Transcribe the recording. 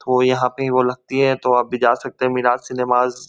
वो यहां पे वो लगती है तो आप भी जा सकते है मीराज सिनेमाज --